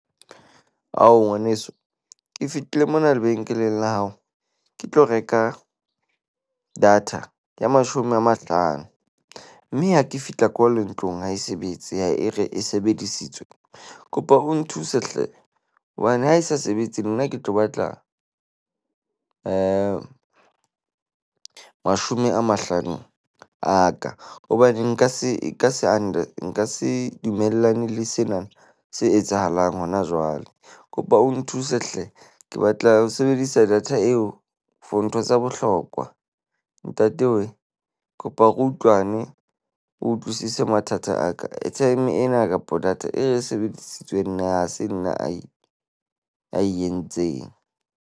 Ao, ngwaneso. Ke fetile mona lebenkeleng la hao ke tlo reka data ya mashome a mahlano mme ha ke fihla kole ntlong ha e sebetse, e re e sebedisitswe. Kopa o nthuse hle, hobane ha e sa sebetse nna ke tlo batla mashome a mahlano a ka. Hobane nka se e ka se nka se dumellane le sena se etsahalang hona jwale. Kopa o nthuse hle. Ke batla ho sebedisa data eo for ntho tsa bohlokwa. Ntate we, kopa re utlwane. O utlwisise mathata a ka. Airtime ena kapa data e sebedisitswe nna ha se nna ae entseng.